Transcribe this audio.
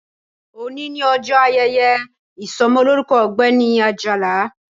Òní ni ọjọ́ ayẹyẹ ìsọmọlórúkọ ọ̀gbẹ́ni Àjàlá